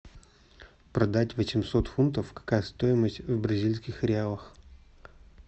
продать восемьсот фунтов какая стоимость в бразильских реалах